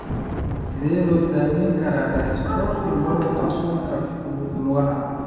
Sidee loo daweyn karaa dystrophy muruqa suunka lugaha?